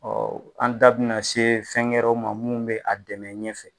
an da bina se fɛn ŋɛrɛ ma mun be a dɛmɛ ɲɛfɛ